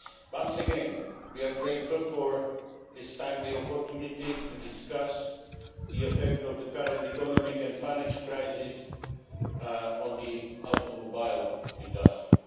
Once again, we are grateful for this timely opportunity to discuss the effect of the current economic and financial crisis on the automobile industry.